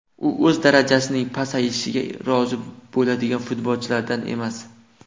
U o‘z darajasining pasayishiga rozi bo‘ladigan futbolchilardan emas.